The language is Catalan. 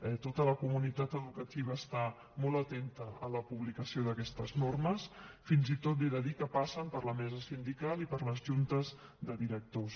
eh tota la comunitat educativa està molt atenta a la publicació d’aquestes normes fins i tot li he de dir que passen per la mesa sindical i per les juntes de directors